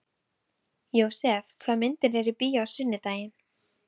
Jósep, hvaða myndir eru í bíó á sunnudaginn?